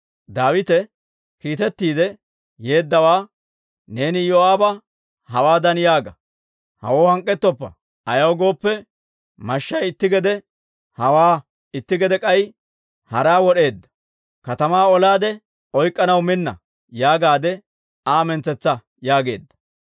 Daawite kiitettiide yeeddawaa, «Neeni Iyoo'aaba hawaadan yaaga; ‹Hawoo hank'k'etoppa; ayaw gooppe, mashshay itti gede hawaa, itti gede k'ay haraa wod'eedda; katamaa olaade oyk'k'anaw minna› yaagaade Aa mintsetsa» yaageedda.